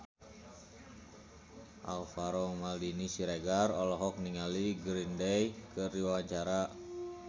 Alvaro Maldini Siregar olohok ningali Green Day keur diwawancara